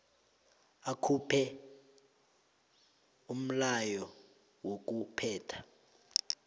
akhuphe umlayo wokuphetha